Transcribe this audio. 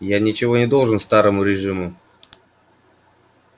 я ничего не должен старому режиму